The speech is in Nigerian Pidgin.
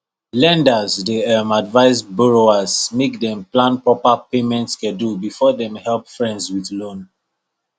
lenders dey um advise borrowers make dem plan proper payment schedule before dem help friends with loan